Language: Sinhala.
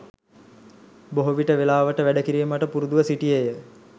බොහෝ විට වෙලාවට වැඩ කිරීමට පුරුදුව සිටියේ ය